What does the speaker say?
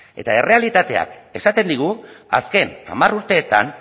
eta errealitateak esaten digu azken hamar urteetan